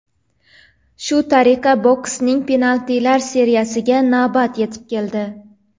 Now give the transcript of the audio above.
Shu tariqa boksning penaltilar seriyasiga navbat yetib keldi.